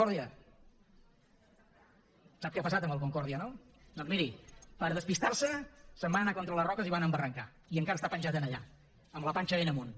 ) sap què ha passat amb el concordia no doncs miri per despistar se se’n van anar contra les roques i van embarrancar i encara està penjat allà amb la panxa ben amunt